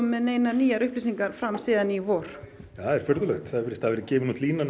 með neinar nýjar upplýsingar síðan í vor það er furðulegt það virðist hafa verið gefin út línan